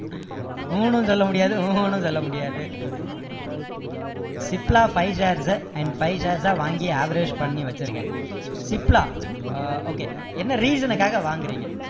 உம்னு சொல்ல முடியாது உஹுன்னு சொல்ல முடியாது Cipla five shares sir and five shares சா வாங்கி average பண்ணி வச்சிருக்கேன் சிப்லா okay என்ன reason காக வாங்குறீங்க